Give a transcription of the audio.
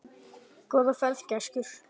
Góða ferð, gæskur.